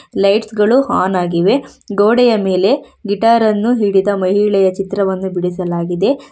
Lights ಗಳು on ಆಗಿವೆ ಗೋಡೆಯ ಮೇಲೆ ಗಿಟಾರ್ ಅನ್ನು ಹಿಡಿದ ಮಹಿಳೆಯ ಚಿತ್ರವನ್ನು ಬಿಡಿಸಲಾಗಿದೆ.